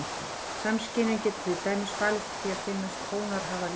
Samskynjun getur til dæmis falist í því að finnast tónar hafa lit.